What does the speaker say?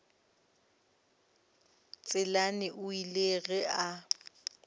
tselane o ile ge a